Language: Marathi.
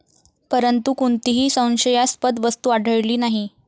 परंतु, कोणतीही संशयास्पद वस्तू आढळली नाही.